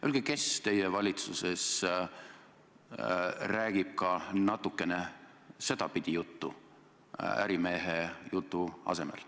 Öelge, kes teie valitsuses räägib natukene ka sedapidi juttu ärimehe jutu asemel.